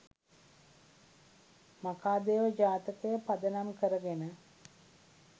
මඛාදේව ජාතකය පදනම් කරගෙන